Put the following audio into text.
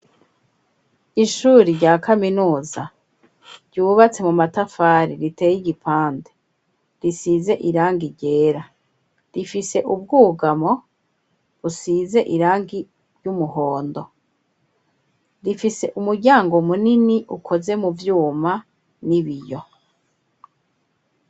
ishuri rya kaminuza, ryubatse mu matafari, riteye igipande; risize irangi ryera, rifise ubwugamo, busize irangi ry'umuhondo; rifise umuryango munini, ukoze mu vyuma, n'ibiyo.